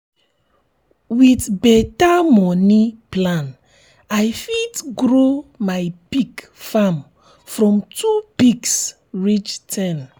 with better moni plan i fit grow my pig farm from two pigs reach ten.